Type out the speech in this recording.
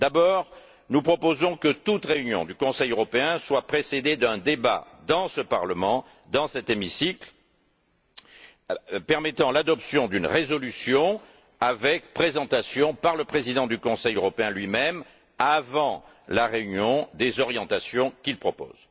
D'abord, nous proposons que toute réunion du Conseil européen soit précédée d'un débat dans ce Parlement, dans cet hémicycle, permettant avant la réunion l'adoption d'une résolution, avec présentation par le président du Conseil européen, lui même, des orientations qu'il propose.